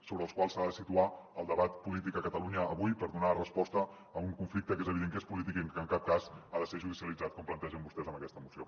sobre els quals s’ha de situar el debat polític a catalunya avui per donar resposta a un conflicte que és evident que és polític i que en cap cas ha de ser judicialitzat com plantegen vostès en aquesta moció